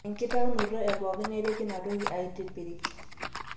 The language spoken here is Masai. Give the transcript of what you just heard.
3. enkitaunoto epooki neripi ina toki aaitipirik